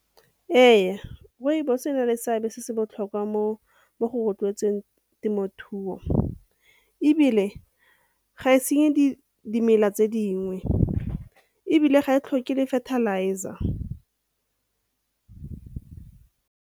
Ee, rooibos e na le seabe se se botlhokwa mo go rotloetseng temothuo ebile ga e senye dimela tse dingwe ebile ga e tlhoke le fertilizer.